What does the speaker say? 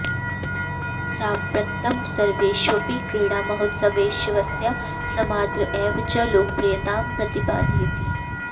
साम्प्रत्तं सर्वेष्वपि क्रीडामहोत्सवेष्वस्याः समाद्र एव च लोकप्रियतां प्रतिपादयति